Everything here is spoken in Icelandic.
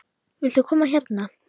Viltu koma hérna?